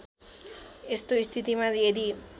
यस्तो स्थितिमा यदि